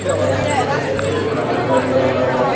कुछ आइसक्रीम का चित्र ब्राउन कलर का बना हुआ है।